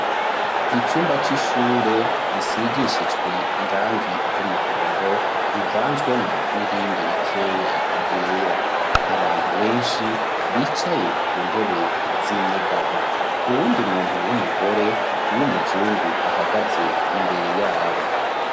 Icumba c'ishure risigishijwe irangi ry'umuhondo uvanzwemo nirindi rikeya ryera abantu benshi bicaye ku ntebe z'inyegamo uwundi muntu w'umugore w'umuzungu ahagaze imbere yabo.